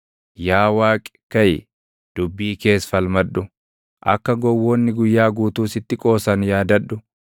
Yaa Waaqi kaʼi; dubbii kees falmadhu; akka gowwoonni guyyaa guutuu sitti qoosan yaadadhu.